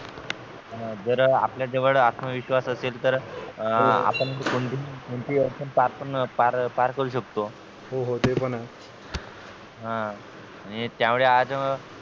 जर आपल्या जवळ आत्त्मविश्वास असेल तर अ आपण कोणतीही अडचण पार पार करू शकतो हो हो ते पण आहे हं आणि त्यामुळे आज